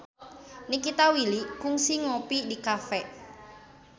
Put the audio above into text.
Nikita Willy kungsi ngopi di cafe